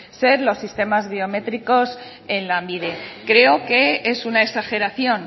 ser los sistemas biométricos en lanbide creo que es una exageración